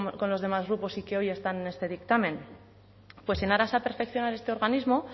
con los demás grupos y que hoy están en este dictamen pues en aras a perfeccionar este organismo